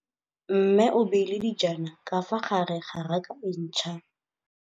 Mmê o beile dijana ka fa gare ga raka e ntšha.